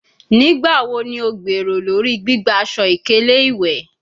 Nigbawo ni o gbero lori gbigba aṣọ-ikele iwẹ?